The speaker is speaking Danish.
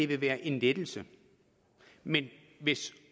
det være en lettelse men hvis